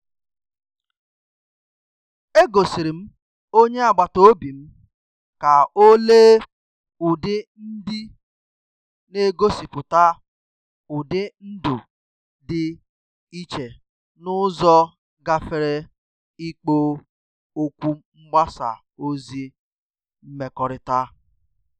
Egosirim onye agbataobim ka ọ lee ụdị ndị n' egosipụta ụdị ndụ dị iche n' ụzọ gafere ikpo okwu mgbasa ozi mmekọrịta.